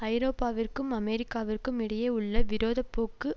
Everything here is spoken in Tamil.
ஐரோப்பாவிற்கும் அமெரிக்காவிற்கும் இடையே உள்ள விரோத போக்கு